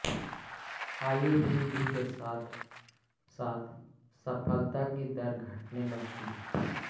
आयु वृद्धि के साथ साथ सफलता की दर घटने लगती है